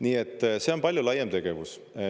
Nii et see on palju laiem tegevus.